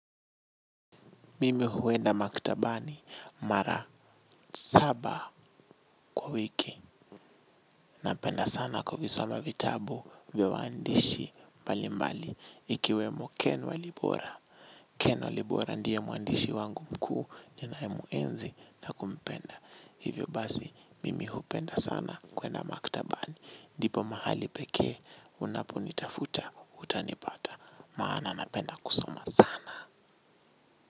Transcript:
Mimi huenda maktabani mara saba kwa wiki. Napenda sana kuvisoma vitabu vya waandishi mbali mbali. Ikiwemo ken wa libora. Ken wa libora ndiye mwandishi wangu mkuu ninaye muenzi na kumpenda. Hivyo basi, mimi hupenda sana kwenda maktabani. Ndipo mahali peke, unapo nitafuta, utanipata. Maana napenda kusoma sana.